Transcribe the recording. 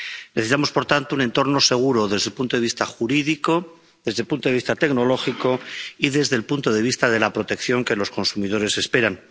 Necesitamos, por tanto, un entorno seguro desde el punto de vista jurídico, desde el punto de vista tecnológico y desde el punto de vista de la protección que los consumidores esperan.